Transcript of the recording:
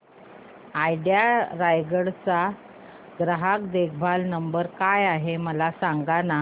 idea Raigad चा ग्राहक देखभाल नंबर काय आहे मला सांगाना